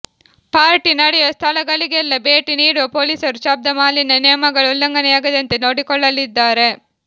party ನಡೆಯುವ ಸ್ಥಳಗಳಿಗೆಲ್ಲ ಭೇಟಿ ನೀಡುವ ಪೊಲೀಸರು ಶಬ್ಧ ಮಾಲಿನ್ಯ ನಿಯಮಗಳ ಉಲ್ಲಂಘನೆಯಾಗದಂತೆ ನೋಡಿಕೊಳ್ಳಲಿದ್ದಾರೆ